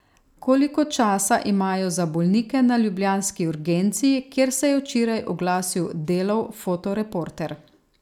Koliko časa imajo za bolnike na ljubljanski urgenci, kjer se je včeraj oglasil Delov fotoreporter?